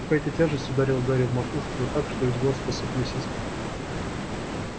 какая-то тяжесть ударила гарри в макушку да так что из глаз посыпались искры